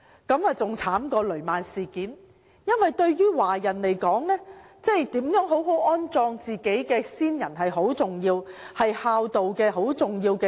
這比雷曼事件更悲慘；對華人來說，為盡孝道，好好安葬先人十分重要。